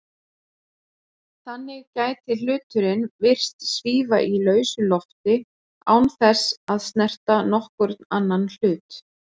Þannig gæti hluturinn virst svífa í lausu lofti án þess að snerta nokkurn annan hlut.